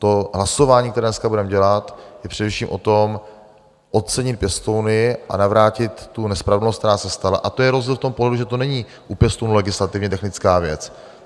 To hlasování, které dneska budeme dělat, je především o tom, ocenit pěstouny a navrátit tu nespravedlnost, která se stala, a to je rozdíl v tom pohledu, že to není u pěstounů legislativně technická věc.